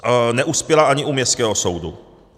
Neuspěla ani u městského soudu.